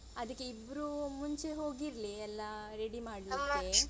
ಅದಿಕ್ಕೆ ಇಬ್ರು ಮುಂಚೆ ಹೋಗಿರ್ಲಿ ಎಲ್ಲ ರೆಡಿ ಮಾಡ್ಲಿಕ್ಕೆ